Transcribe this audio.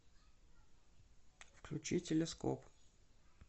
включи телескоп